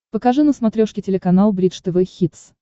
покажи на смотрешке телеканал бридж тв хитс